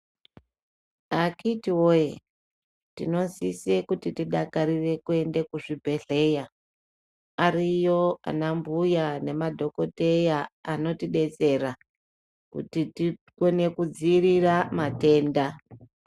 Akiti woye tino sise kuti tidakarire kuende ku zvibhedhleya ariyo ana mbuya nema dhokoteya anoti detsera kuti tikone ku dzivirira matenda.